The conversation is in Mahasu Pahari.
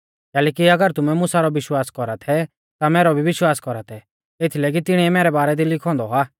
कैलैकि अगर तुमै मुसा रौ विश्वास कौरा थै ता मैरौ भी विश्वास कौरा थै एथीलै कि तिणीऐ मैरै बारै दी लिखौ औन्दौ आ